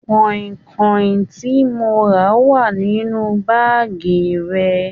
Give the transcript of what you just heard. Kọ̀ìnkọ̀ìn tí mó rà wá nínú báàgí rẹ.